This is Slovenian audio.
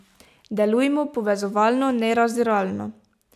Delujmo povezovalno, ne razdiralno.